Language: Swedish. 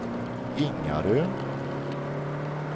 Ingarö